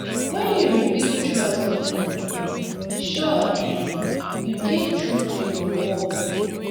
wen yu rebuild trust be um sure um yu dey true to yur word.